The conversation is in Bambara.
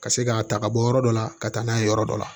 Ka se k'a ta ka bɔ yɔrɔ dɔ la ka taa n'a ye yɔrɔ dɔ la